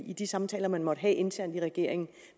de samtaler man måtte have internt i regeringen